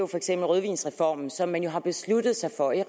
for eksempel rødvinsreformen som man har besluttet sig for ikke